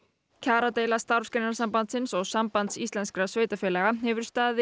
kjaradeila Starfsgreinasambandsins og Sambands sveitarfélaga hefur staðið